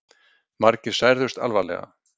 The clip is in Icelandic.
Margir særðust alvarlega